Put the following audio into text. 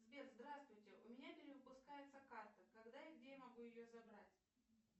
сбер здравствуйте у меня перевыпускается карта когда и где я могу ее забрать